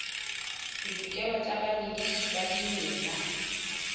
ditokelo tsa bamedisi ba dimela